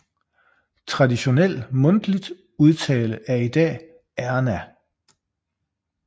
Traditionel mundtligt udtale er i dag Ærna